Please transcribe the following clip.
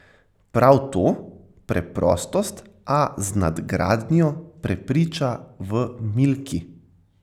Prav to, preprostost, a z nadgradnjo, prepriča v Milki.